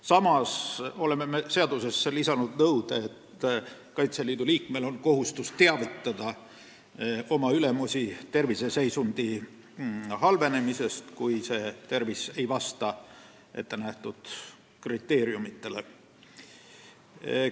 Samas tahame seadusesse lisada nõude, et Kaitseliidu liikmel on kohustus teavitada oma ülemusi terviseseisundi halvenemisest, kui tervis ei vasta ettenähtud kriteeriumidele.